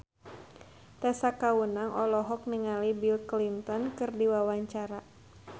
Tessa Kaunang olohok ningali Bill Clinton keur diwawancara